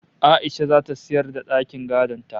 A'isha zata sayar da dakin gadon ta